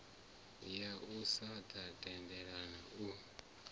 ya u sa tendela u